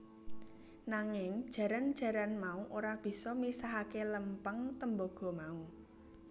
Nanging jaran jaran mau ora bisa misahake lempeng tembaga mau